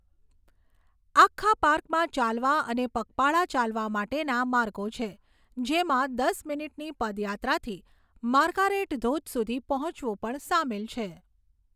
આખા પાર્કમાં ચાલવા અને પગપાળા ચાલવા માટેના માર્ગો છે, જેમાં દસ મિનિટની પદયાત્રાથી માર્ગારેટ ધોધ સુધી પહોંચવું પણ સામેલ છે.